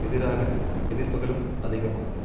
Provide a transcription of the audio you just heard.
எதிராக எதிர்ப்புக்களும் அதிகமாகும்